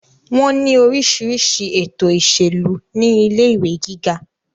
wọ́n ní orísirísi ètò ìṣèlú ní ilé ìwé gíga